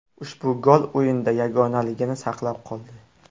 Ushbu gol o‘yinda yagonaligini saqlab qoldi.